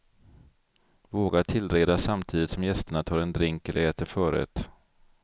Våga tillreda samtidigt som gästerna tar en drink eller äter förrätt.